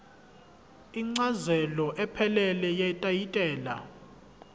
incazelo ephelele yetayitela